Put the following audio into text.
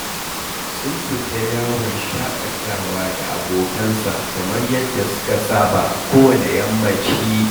Sun fita yawon shaƙatawa da abokansa kamar yadda suka saba a kowanne yammaci